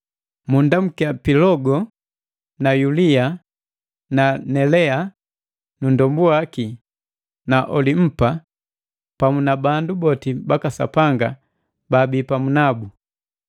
Munndamukia Pilogo na Yulia na Nelea na nndombu waki na Olimpa pamu na bandu boti baka Sapanga baabi pamu nabu.